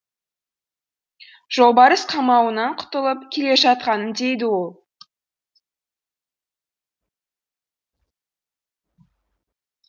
жолбарыс қамауынан құтылып келе жатқаным дейді ол